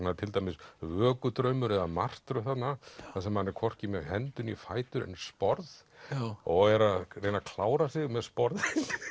er til dæmis eða martröð þarna þar sem hann er hvorki með hendur né fætur en sporð og er að reyna að klára sig með sporðinn